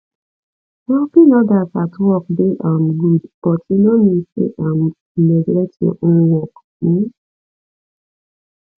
helping others at work dey um good but e no mean say um you neglect your own work um